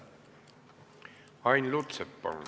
Ain Lutsepp, palun!